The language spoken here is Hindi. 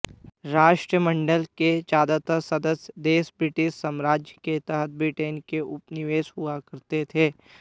राष्ट्रमंडल के ज्यादातर सदस्य देश ब्रिटिश साम्राज्य के तहत ब्रिटेन के उपनिवेश हुआ करते थे